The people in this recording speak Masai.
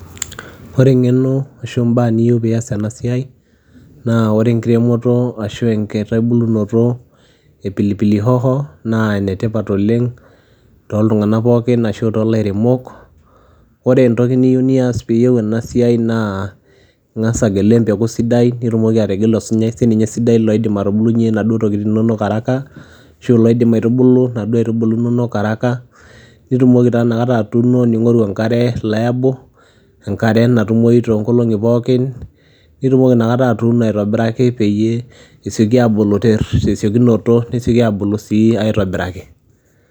Ore eng'eno ashu mbaa niyiu piiyas ena siai naa ore enkiremoto ashu enkitubulunoto e pilipili hoho naa ene tipat oleng' tooltung'anak pookin ashu toolairemok. Ore entoki niyeu niyas peeyeu ena siai naa ing'asa agelu empeku sidai nitumoki ategelu sininye osunyai sininye sidai loidim atubulunye inaduo tokitin inonok haraka ashu loidim aitubulu inaduo aitubulu inonok haraka, nitumoki taa inakata atuuno, ning'oru enkare liable enkare natumoyu too nkolong'i pookin nitumoki inakata atuuno peyie esioki aabulu te siokinoto, nesioki aabulu sii aitobiraki.